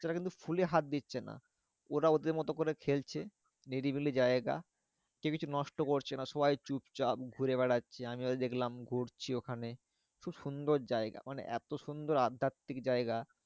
রা কিন্তু ফুলে হাত দিচ্ছে না। ওরা ওদের মতো করে খেলছে নিরিবিলি জায়গা। কেউ কিছু নষ্ট করছে না। সবাই চুপচাপ ঘুরে বেড়াচ্ছে, আমিও দেখলাম ঘুরছি ওখানে। খুব সুন্দর জায়গা মানে এত সুন্দর আধ্যাত্মিক জায়গা